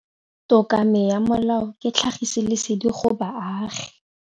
Tokomane ya molao ke tlhagisi lesedi go baagi.